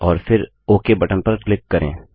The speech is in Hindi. और फिर ओक बटन पर क्लिक करें